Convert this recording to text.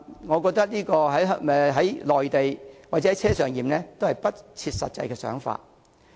我覺得"內地檢"或"車上檢"均是不切實際的想法。